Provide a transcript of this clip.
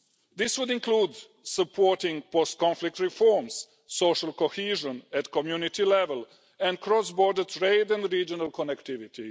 This would include supporting post conflict reforms, social cohesion at community level, cross border trade and regional connectivity.